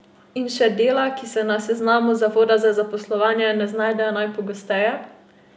In še dela, ki se na seznamu zavoda za zaposlovanje ne znajdejo najpogosteje?